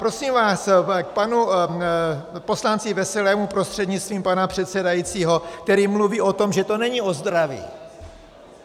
Prosím vás, k panu poslanci Veselému prostřednictvím pana předsedajícího, který mluví o tom, že to není o zdraví.